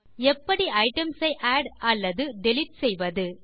எப்படி ஐட்டம்ஸ் ஐ ஆட் அல்லது டிலீட் செய்வது